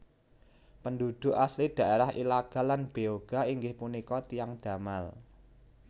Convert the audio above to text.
Penduduk asli daerah Ilaga lan Beoga inggih punika tiyang Damal